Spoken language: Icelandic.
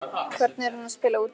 Hvernig er hún að spila úti?